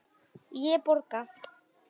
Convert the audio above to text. Ég borga.